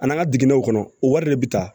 Ani an ka digɛnw kɔnɔ o wari de bɛ ta